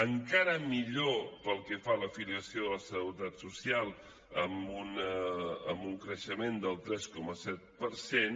encara millor pel que fa a la filiació de la seguretat social amb un creixement del tres coma set per cent